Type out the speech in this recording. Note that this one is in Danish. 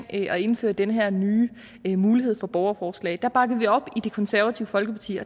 at indføre den her nye mulighed for borgerforslag kom bakkede vi det op i det konservative folkeparti